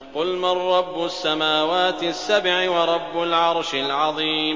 قُلْ مَن رَّبُّ السَّمَاوَاتِ السَّبْعِ وَرَبُّ الْعَرْشِ الْعَظِيمِ